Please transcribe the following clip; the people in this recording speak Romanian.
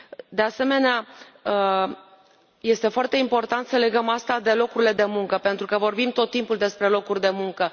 De asemenea, este foarte important să legăm asta de locurile de muncă, pentru că vorbim tot timpul despre locuri de muncă.